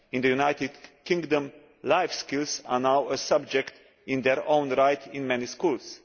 In the United Kingdom, life issues are now a subject in their own right in many schools.